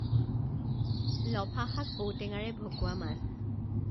লফা শাক, ঔটেঙাৰে ভকুৱা মাছ